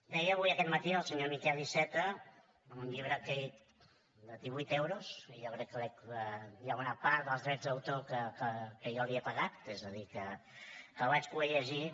deia avui aquest matí el senyor miquel iceta un llibre de divuit euros jo crec que hi ha una part dels drets d’autor que jo li he pagat és a dir que el vaig poder llegir